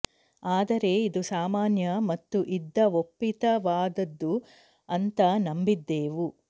ಆದರೆ ಇದು ಸಾಮಾನ್ಯ ಮತ್ತು ಇದ್ದ ಒಪ್ಪಿತವಾದದ್ದು ಅಂತ ನಂಬಿದ್ದೆವು